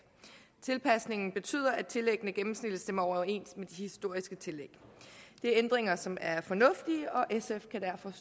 tilpasningen betyder at tillæggene gennemsnitligt stemmer overens med de historiske tillæg det er ændringer som er fornuftige og sf kan derfor